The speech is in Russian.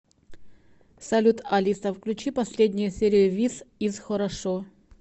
салют алиса включи последнюю серию вис из хорошо